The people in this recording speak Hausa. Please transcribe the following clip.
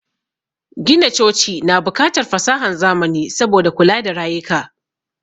Gina coci na bukatar fasahan zamani saboda kula da rayuka